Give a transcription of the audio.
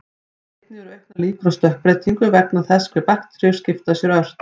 Einnig eru auknar líkur á stökkbreytingu vegna þess hve bakteríur skipta sér ört.